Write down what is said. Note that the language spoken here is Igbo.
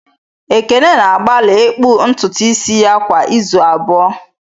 Ekene na-agbalị ịkpụ ntutu isi ya kwa izu abụọ